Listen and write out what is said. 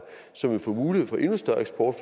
som ville få mulighed for endnu større eksport